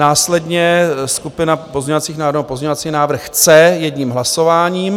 Následně skupina pozměňovacích návrhů, pozměňovací návrh C, jedním hlasováním.